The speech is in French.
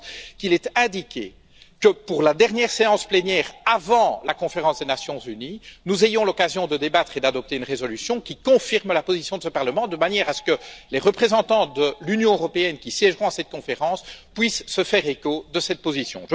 Je pense qu'il est indiqué que, pour la dernière séance plénière avant la conférence des Nations unies, nous ayons l'occasion de débattre et d'adopter une résolution qui confirme la position de ce Parlement, de manière à ce que les représentants de l'Union européenne qui siégeront à cette conférence puissent se faire l'écho de cette position.